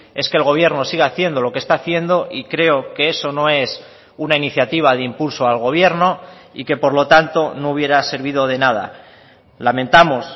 es que el gobierno siga haciendo lo que está haciendo y creo que eso no es una iniciativa de impulso al gobierno y que por lo tanto no hubiera servido de nada lamentamos